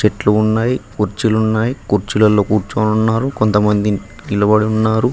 చెట్లు ఉన్నాయ్ కుర్చీలు ఉన్నాయ్ కుర్చీలల్లో కూర్చొని ఉన్నారు కొంతమంది నిలబడి ఉన్నారు.